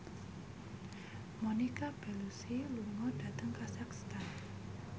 Monica Belluci lunga dhateng kazakhstan